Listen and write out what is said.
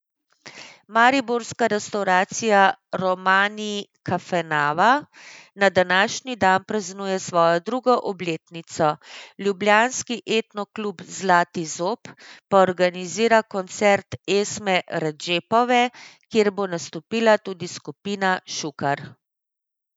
Mariborska restavracija Romani kafenava na današnji dan praznuje svojo drugo obletnico, ljubljanski Etno klub Zlati zob pa organizira koncert Esme Redžepove, kjer bo nastopila tudi skupina Šukar.